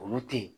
Olu te yen